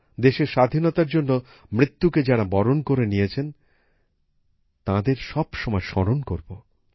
দেশের স্বাধীনতার জন্য মৃত্যুকে যারা বরণ করে নিয়েছেন তাদের সব সময় স্মরণ করব